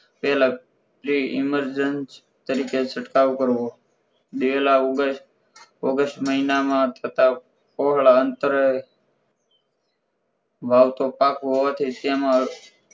એ લગતી emergency તરીકે છંટકાવ કરવો દિવેલા august માં થતાં છોડ આંતરે વાવતો પાક હોવાથી સએમાં